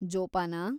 ಜೋಪಾನ.